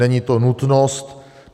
Není to nutnost.